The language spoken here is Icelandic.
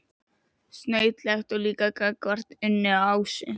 Snautlegt líka gagnvart Unni og Ásu.